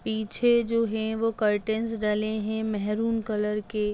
पीछे जो हैं वो करटन्स डले हैं मेहरुन कलर के।